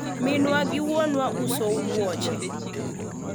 minwa gi wuonwa uso wuoche